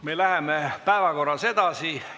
Me läheme päevakorraga edasi.